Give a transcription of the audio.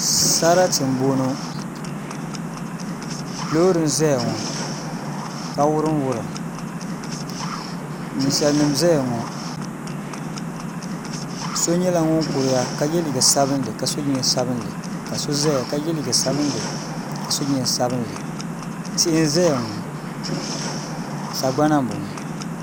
Sarati n bɔŋɔ loori n ʒɛya ŋɔ ka wurim wurim ninsal nim n ʒɛya ŋɔ so nyɛla ŋun kuriya ka yɛ liiga sabinli ka so jinjɛm sabinli ka so ʒɛya ka yɛ liiga sabinli ka so jinjɛm sabinli tihi n ʒɛya ŋɔ sagbana n bɔŋɔ